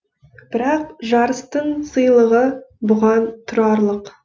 бірақ жарыстың сыйлығы бұған тұрарлық